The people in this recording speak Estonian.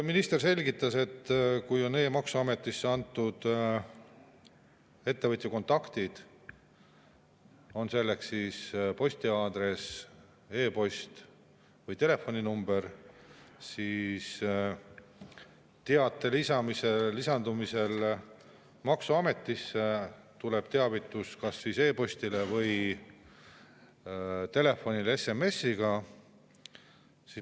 Minister selgitas, et kui on e‑maksuametisse antud ettevõtja kontaktid, on selleks siis postiaadress, e‑post või telefoninumber, siis teate lisandumisel maksuametisse tuleb teavitus kas e‑postile või telefonile SMS‑iga.